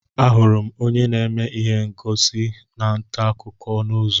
Ahụrụ m onye na-eme ihe ngosi ntaakụkọ n'ụzọ